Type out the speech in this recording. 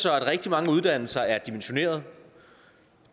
at rigtig mange uddannelser er dimensionerede